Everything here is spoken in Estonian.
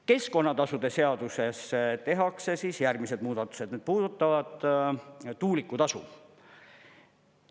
Keskkonnatasude seaduses tehakse järgmised muudatused, need puudutavad tuulikutasu.